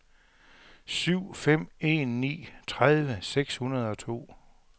syv fem en ni tredive seks hundrede og to